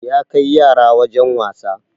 Ya kai yara wajen wasa